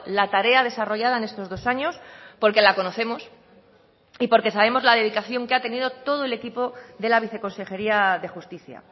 la tarea desarrollada en estos dos años porque la conocemos y porque sabemos la dedicación que ha tenido todo el equipo de la viceconsejería de justicia